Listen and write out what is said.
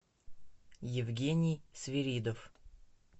евгений свиридов